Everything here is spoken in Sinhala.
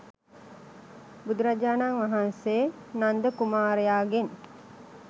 බුදුරජාණන් වහන්සේ නන්ද කුමාරයාගෙන්